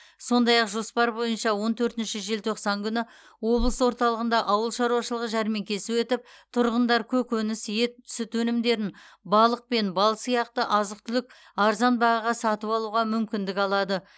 сондай ақ жоспар бойынша он төртінші желтоқсан күні облыс орталығында ауыл шаруашылығы жәрмеңкесі өтіп тұрғындар көкөніс ет сүт өнімдерін балық пен бал сияқты азық түлік арзан бағаға сатып алуға мүмкіндік алады